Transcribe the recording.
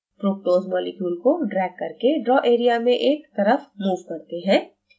fructose molecules को drag करके draw area में एक तरफ move करते हैं